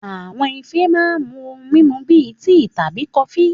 Àwọn ife máa ń mú ohun mímu bíi tíì tàbí kọfí